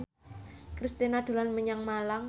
Kristina dolan menyang Malang